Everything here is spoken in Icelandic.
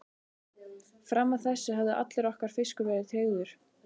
Fram að þessu hafði allur okkar fiskur verið tryggður.